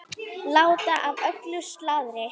Láta af öllu slaðri.